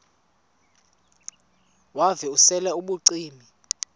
wav usel ubucima